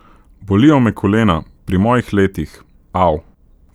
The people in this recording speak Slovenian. Bolijo me kolena, pri mojih letih, au.